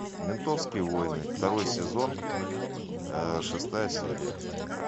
ментовские войны второй сезон шестая серия